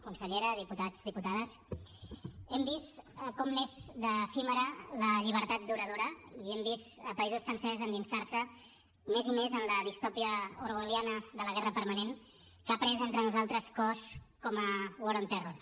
consellera diputats diputades hem vist com n’és d’efímera la llibertat duradora i hem vist països sencers endinsar se més i més en la distòpia orwelliana de la guerra permanent que ha pres entre nosaltres cos com a war on terror